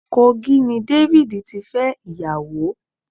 Kogi ni David tí fẹ́ ìyàwó.